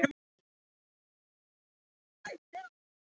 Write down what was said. Sogi og sem leið lá meðfram Álftavatni og uppað Kerinu.